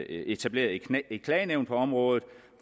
etableret et klagenævn på området